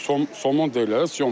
Somon deyirlər, sömqa.